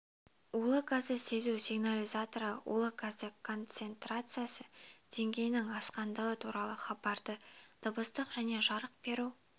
улы газды сезу сигнализаторлары улы газ концентрациясы деңгейінің асқандығы туралы хабарды дыбыстық және жарық беру